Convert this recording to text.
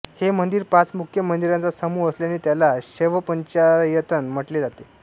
हे मंदिर पाच मुख्य मंदिरांचा समूह असल्याने त्याला शैवपंचायतन म्हटले जाते